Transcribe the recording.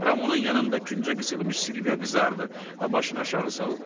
Ramonun yanında küncə qısılmış Silvia qızardı və başını aşağı saldı.